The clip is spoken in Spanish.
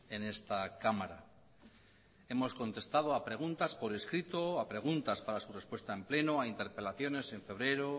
en esta cámara hemos contestado a preguntas por escrito a preguntas para su respuesta en pleno a interpelaciones en febrero